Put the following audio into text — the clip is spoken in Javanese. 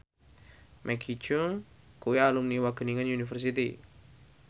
Maggie Cheung kuwi alumni Wageningen University